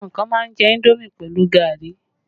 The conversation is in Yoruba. Àwọn kan má ń jẹ indomi pẹ̀lú gari